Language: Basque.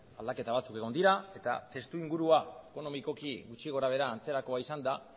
aldaketa batzuk egon dira eta testuingurua ekonomikoki gutxi gora behera antzerakoa izanda